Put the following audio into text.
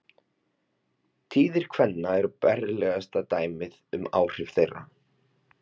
Tíðir kvenna eru berlegasta dæmið um áhrif þeirra.